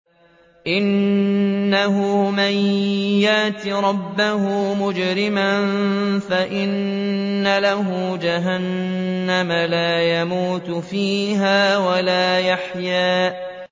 إِنَّهُ مَن يَأْتِ رَبَّهُ مُجْرِمًا فَإِنَّ لَهُ جَهَنَّمَ لَا يَمُوتُ فِيهَا وَلَا يَحْيَىٰ